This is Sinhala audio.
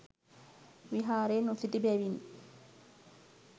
විහාරයේ නොසිටි බැවින්